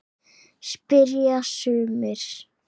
spyrja sumir.